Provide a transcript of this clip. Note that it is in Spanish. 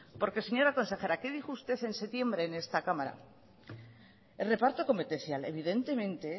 porque señora consejera que dijo usted en septiembre en esta cámara reparto competencial evidentemente